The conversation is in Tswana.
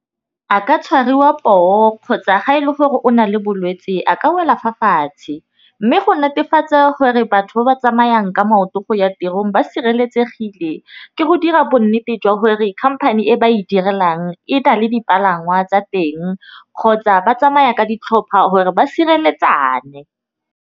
A ka tshwariwa poo kgotsa ga e le gore o na le bolwetsi a ka wela fa fatshe, mme go netefatsa gore batho ba ba tsamayang ka maoto go ya tirong ba sireletsegile. Ke go dira bonnete jwa gore company e ba e direlang e na le dipalangwa tsa teng kgotsa ba tsamaya ka ditlhopha gore ba sireletsana.